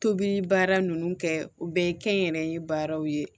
Tobili baara ninnu kɛ o bɛɛ ye kɛnyɛrɛye baaraw ye